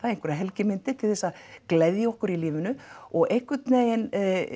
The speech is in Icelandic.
einhverjar helgimyndir til þess að gleðja okkur í lífinu og einhvern veginn